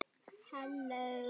Getum við þetta?